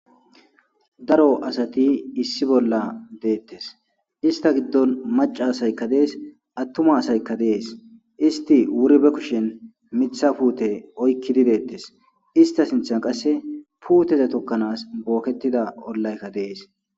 daro asati issi bolla deettes ista giddon macaasaykka dees attuma asaykka dees isti wuri be kushen mitha puute oykki didettes ista sinthan qasse puuteze tokkanaas booketida ollaykka dees